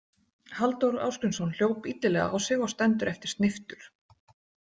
Halldór Ásgrímsson hljóp illilega á sig og stendur eftir sneyptur.